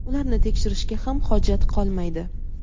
ularni tekshirishga ham hojat qolmaydi.